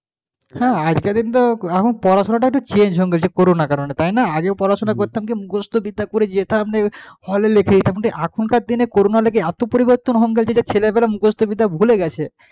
হ্যাঁ একটা দিন তো এখন পড়াশোনা টা একটু change হয়ে গেছে করোনার কারণে তাই না আগেও পড়াশোনা করতাম কি মুখস্থবিদ্যা করে যেতামহলে লিখে এখনকার দিনে করোনার লেগে এত পরিবর্তন হয়ে গেছে যে ছেলেরা মুখস্থবিদ্যা ভুলে গেছে,